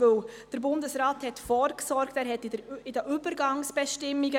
Wer der Planungserklärung 3 zustimmt, stimmt Ja, wer diese ablehnt, stimmt Nein.